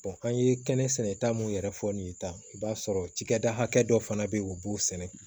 an ye kɛnɛ sɛnɛta mun yɛrɛ fɔ nin ta i b'a sɔrɔ cikɛda hakɛ dɔ fana bɛ yen u b'o sɛnɛ